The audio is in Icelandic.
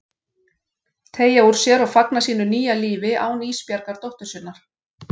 Teygja úr sér og fagna sínu nýja lífi án Ísbjargar dóttur sinnar.